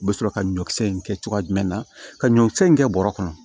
U bɛ sɔrɔ ka ɲɔkisɛ in kɛ cogoya jumɛn na ka ɲɔkisɛ in kɛ bɔrɔ kɔnɔ